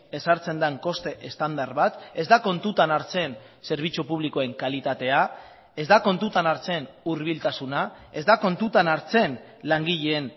ezartzen den koste estandar bat ez da kontutan hartzen zerbitzu publikoen kalitatea ez da kontutan hartzen hurbiltasuna ez da kontutan hartzen langileen